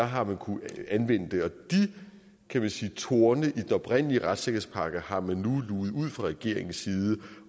har man kunnet anvende det og de kan man sige torne i den oprindelige retssikkerhedspakke har man nu luget ud fra regeringens side